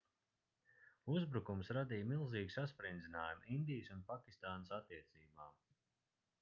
uzbrukums radīja milzīgu sasprindzinājumu indijas un pakistānas attiecībām